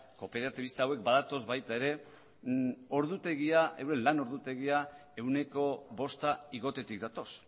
kooperatibista hauek badatoz baita ere euren lan ordutegia ehuneko bosta igotzetik datoz